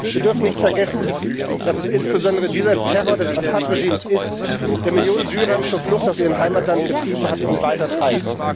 Wir dürfen nicht vergessen, dass es insbesondere dieser Terror des Assad Regimes ist, der Millionen Syrer zur Flucht aus ihrem Heimatland getrieben hat und weiter treibt.